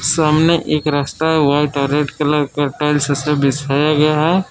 सामने एक रस्ता वाइट और रेड का टाइल्स से बिछाया गया है।